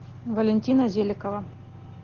валентина зеликова